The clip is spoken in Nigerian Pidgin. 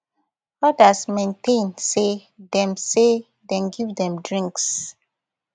odas maintain say dem say dem give dem drinks